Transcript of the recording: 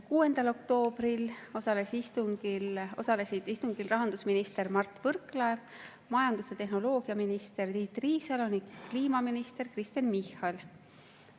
6. oktoobril osalesid istungil ka rahandusminister Mart Võrklaev, majandus‑ ja infotehnoloogiaminister Tiit Riisalo ning kliimaminister Kristen Michal.